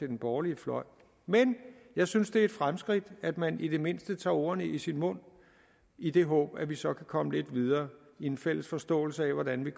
den borgerlige fløj men jeg synes det er et fremskridt at man i det mindste tager ordene i sin mund i det håb at vi så kan komme lidt videre i en fælles forståelse af hvordan vi